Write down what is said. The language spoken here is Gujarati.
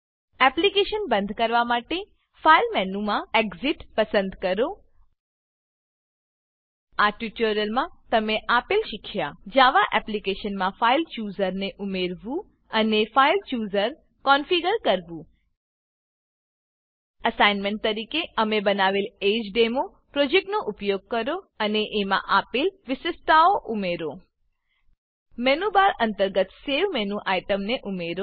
એપ્લીકેશન બંધ કરવા માટે ફાઈલ મેનુમાં એક્સિટ એક્ઝીટ પસંદ કરો આ ટ્યુટોરીયલમાં તમે આપેલ શીખ્યા જાવા એપ્લીકેશનમાં ફાઇલ ચૂઝર ફાઈલ ચુઝર ને ઉમેરવું અને file chooser file chooser configure કરવું એસાઈનમેંટ તરીકે અમે બનાવેલ એજ ડેમો પ્રોજેક્ટનો ઉપયોગ કરો અને એમાં આપેલ વિશિષ્ટતાઓ ઉમેરો મેનુબાર અંતર્ગત સવે સેવ મેનુ આઈટમને ઉમેરો